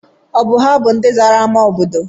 Ọ bụ ha bụ ndị zara ámá obodo?